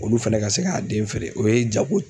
Olu fɛnɛ ka se k'a den feere o ye jago